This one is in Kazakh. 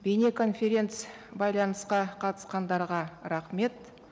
бейнеконференц байланысқа қатысқандарға рахмет